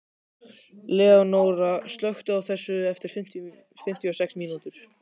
Leónóra, slökktu á þessu eftir fimmtíu og sex mínútur.